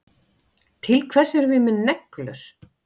Til hvers erum við með neglur?